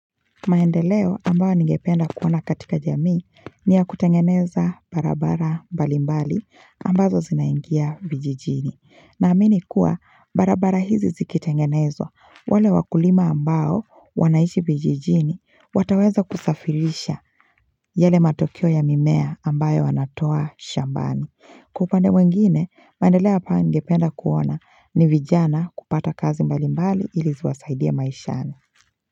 Maendeleo ambayo ningependa kuona katika jamii ni ya kutengeneza barabara mbali mbali ambazo zinaingia vijijini naamini kuwa barabara hizi zikitengenezwa, wale wakulima ambao wanaishi vijijini wataweza kusafirisha yale matokeo ya mimea ambayo wanatoa shambani. Kwa upande mwingine maendeleo hapa ningependa kuona ni vijana kupata kazi mbali mbali ili ziwasaidie maishani.